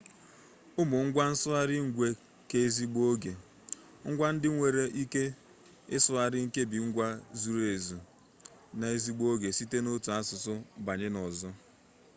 ụmụ ngwa nsụgharị ngwe keezigbo-oge ngwa ndị nwere ike ịsụgharị nkebi ngwe zuzu ezu n'ezigbo-oge site n'otu asụsụ banye n'ọzọ